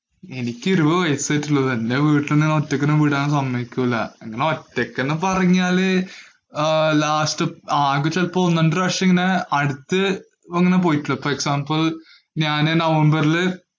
എനിക്ക് ഇരുപത് വയസായിട്ടുള്ളൂ. വീട്ടിലെങ്ങും ഒറ്റയ്ക്ക് വിടാന്‍ സമ്മതിക്കൂല. അങ്ങനെ ഒറ്റയ്ക്ക് എന്ന് പറഞ്ഞാല് last ഒന്ന് രണ്ടു പ്രാവശ്യം ഇങ്ങനെ അടുത്ത് ഇങ്ങനെ പോയിട്ടുള്ളൂ. അപ്പൊ example ഞാന് നവംബറില്